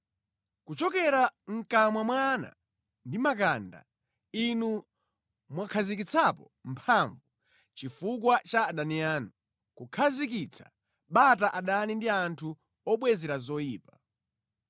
Kuchokera mʼkamwa mwa ana ndi makanda, Inu mwakhazikitsa mphamvu chifukwa cha adani anu, kukhazikitsa bata adani ndi anthu obwezera zoyipa.